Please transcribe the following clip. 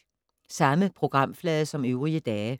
Samme programflade som øvrige dage